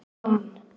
Svan